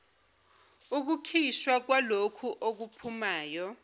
ukukhishwa kwalokho okuphumayo